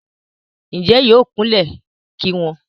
Ǹjẹ́ yóò kú lẹ̀ ki wọn?